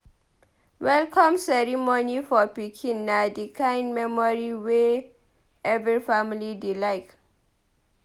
Welcome ceremony for pikin na di kind memory wey every family dey like.